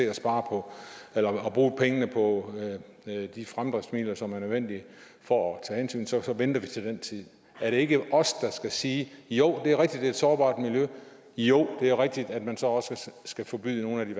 når redderne har brugt pengene på de fremdriftsmidler som er nødvendige for at tage hensyn så venter vi til den tid er det ikke os der skal sige jo det er rigtigt at et sårbart miljø og jo det er rigtigt at man så også skal forbyde nogle af de